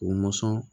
U mɔsɔn